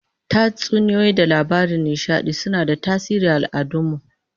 Tatsuniyoyi da labaran nishadi suna da tasiri aal'adun mu